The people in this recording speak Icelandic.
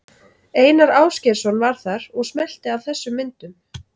Einar Ásgeirsson var þar og smellti af þessum myndum.